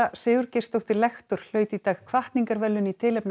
Sigurgeirsdóttir lektor hlaut í dag hvatningarverðlaun í tilefni af